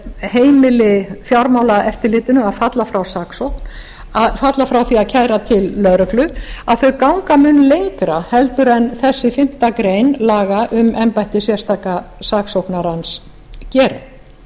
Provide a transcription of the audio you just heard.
heimili fjármálaeftirlitinu að falla frá saksókn að falla frá því að kæra til lögreglu að þau ganga mun lengra en þessi fimmtu grein laga um embætti sérstaka saksóknarans gerir